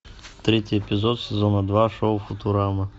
третий эпизод сезона два шоу футурама